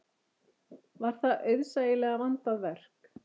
Var það auðsæilega vandað verk.